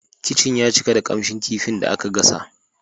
Kicin ya cika da kamshin kifin da aka gasa.